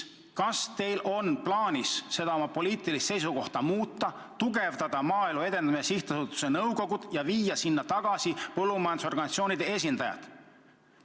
Kas teil on plaanis oma poliitilist seisukohta muuta, tugevdada Maaelu Edendamise Sihtasutuse nõukogu ja viia sinna tagasi põllumajandusorganisatsioonide esindajad?